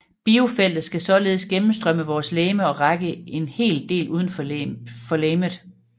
Biofeltet skulle således gennemstrømme vores legeme og række en del udenfor legemet